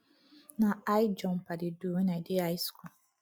na high jump i dey do wen i dey high school